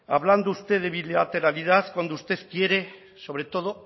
hablando usted de bilateralidad cuando usted quiere sobre todo